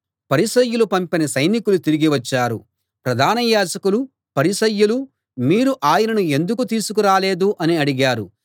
పరిసయ్యులు పంపిన సైనికులు తిరిగి వచ్చారు ప్రధాన యాజకులూ పరిసయ్యులూ మీరు ఆయనను ఎందుకు తీసుకురాలేదు అని అడిగారు